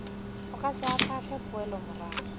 o ka se ahlaahle poelomorago